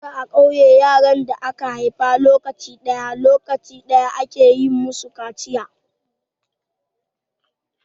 Da a ƙauye, yaran da aka haifa lokaci ɗaya, lokaci ɗaya ake yi masu kaciya.